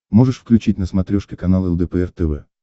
можешь включить на смотрешке канал лдпр тв